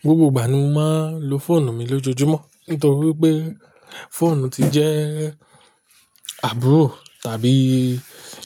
Gbogbo ìgbà ni mo máa ń lo fóònù mi lójoojúmọ́, nítorí pé fóònù ti jẹ́ àbúrò tàbí